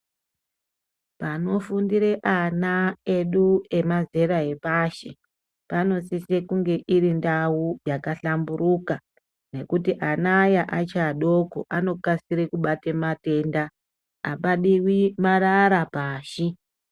Panofundira ana edu emazera epashi panosise kunge iri ndau yakahlamburuka ngekuti ana aya achi adoko anokasire kubatei matenda apadiwi marara pashi.